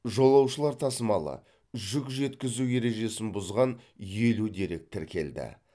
жолаушылар тасымалы жүк жеткізу ережесін бұзған елу дерек тіркелді